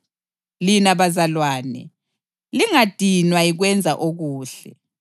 Lina bazalwane, lingadinwa yikwenza okuhle.